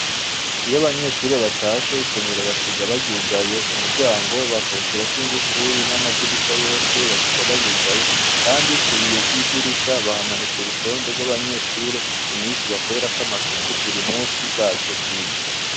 Iyo abanyeshure batashe isomiro basiga bayugaye umuryango bakawushirako ingufuri n'amadirisha yose basiga bayugaye, kandi kubiwe vy'idirisha bahamanike urutonde rw'abanyeshure imisi bakwerako amasuku buri musi baje kwiga.